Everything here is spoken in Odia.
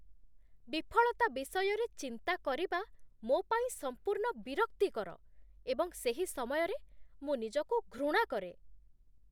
ବିଫଳତା ବିଷୟରେ ଚିନ୍ତା କରିବା ମୋ ପାଇଁ ସମ୍ପୂର୍ଣ୍ଣ ବିରକ୍ତିକର ଏବଂ ସେହି ସମୟରେ ମୁଁ ନିଜକୁ ଘୃଣା କରେ।